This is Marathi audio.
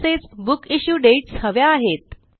तसेच बुक इश्यू डेट्स हव्या आहेत